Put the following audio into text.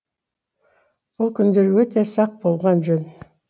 бұл күндері өте сақ болған жөн